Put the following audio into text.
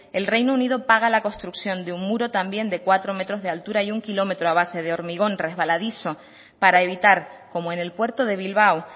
el reino unido paga la construcción de un muro también de cuatro metros de altura y un kilómetro a base de hormigón resbaladizo para evitar como en el puerto de bilbao